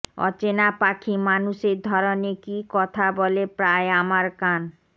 অচেনা পাখি মানুষের ধরনে কী কথা বলে প্রায় আমার কান